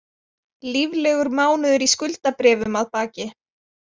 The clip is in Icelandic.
Líflegur mánuður í skuldabréfum að baki